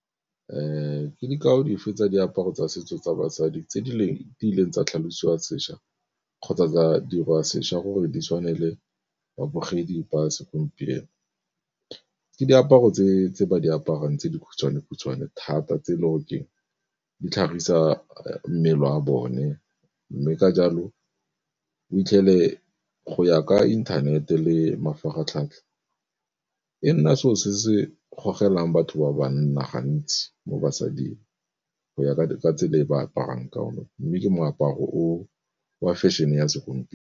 Ke dikao di fe tsa diaparo tsa setso tsa basadi tse leng tsa tlhalosiwa sešwa kgotsa tsa dirwa sešwa gore di tshwane le babogedi ba segompieno? Ke diaparo tse ba di aparang tse dikhutshwane khutshwane thata tse e le gore keng di tlhagisa mmele wa bone, mme ka jalo o itlhele go ya ka inthanete le mafaratlhatlha e nna selo se se gogela batho ba banna gantsi mo basading go ya ka tsela e ba aparang ka yone, mme ke moaparo wa fashion-e ya segompieno.